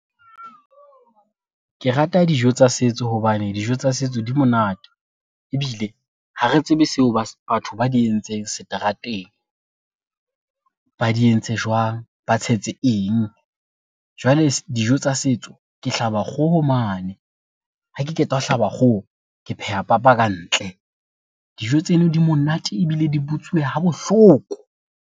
Ke rata dijo tsa setso hobane dijo tsa setso di monate, ebile ha re tsebe seo batho ba di entseng seterateng, ba di entse jwang ba tshetse eng. Jwale dijo tsa setso ke hlaba kgoho mane ha ke qeta ho hlaba kgoho, ke phehe papa ka ntle. Dijo tseno di monate ebile di butsuwe ha bohloko.